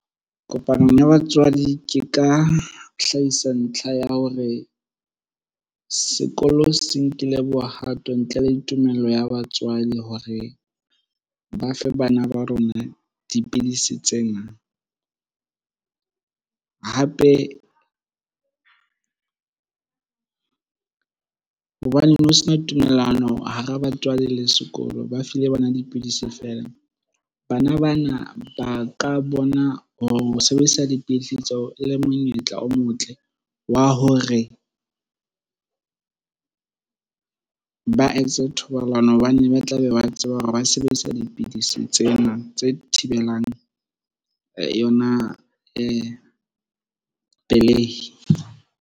Kopanong ya batswadi ke ka hlahisa ntlha ya hore sekolo se nkile bohato ntle le tumello ya batswadi hore ba fe bana ba rona dipidisi tsena. Hape hobane ne ho sena ditumellano hara batswadi le sekolo, ba file bana dipidisi feela. Bana bana ba ka bona ho sebedisa dipidisi tseo e le monyetla o motle wa hore ba etse thobalano hobane ba tlabe ba tseba hore ba sebedisa dipidisi tsena tse thibelang yona pelehi.